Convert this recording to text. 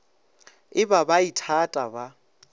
e ba ba ithata ba